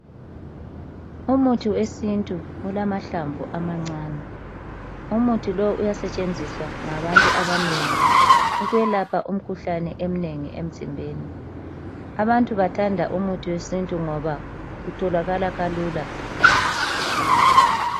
Umuthi wesintu ulamahlamvu amancane, umuthi lo uyasetshenziswa ngabantu abanengi ukwelapha umkhuhlane eminengi emzimbeni. Abantu bathanda umuthi wesintu ngoba utholakala kalula.